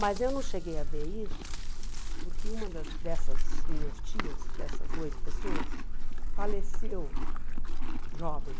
Mas eu não cheguei a ver isso porque uma das dessas minhas tias, dessas oito pessoas, faleceu jovem.